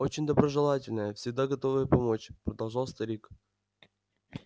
очень доброжелательная всегда готовая помочь продолжал старик